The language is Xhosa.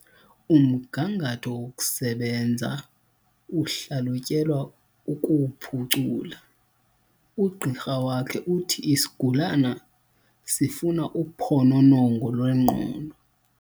Umgangatho wokusebenza uhlalutyelwa ukuwuphucula. ugqirha wakhe uthi isigulana sifuna uphononongo lwengqondo